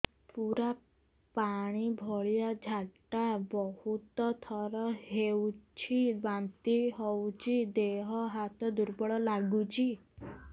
ପୁରା ପାଣି ଭଳିଆ ଝାଡା ବହୁତ ଥର ହଉଛି ବାନ୍ତି ହଉଚି ଦେହ ହାତ ଦୁର୍ବଳ ଲାଗୁଚି